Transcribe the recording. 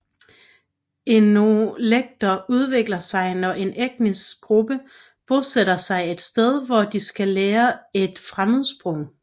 Etnolekter udvikler sig når en etnisk gruppe bosætter sig et sted hvor de skal lære et fremmedsprog